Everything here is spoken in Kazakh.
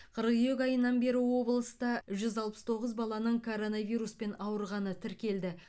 қыркүйек айынан бері облыста жүз алпыс тоғыз баланың коронавируспен ауырғаны тіркелді